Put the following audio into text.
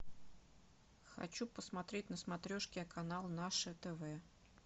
хочу посмотреть на смотрешке канал наше тв